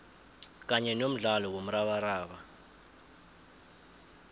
kanye nomdlalo womrabaraba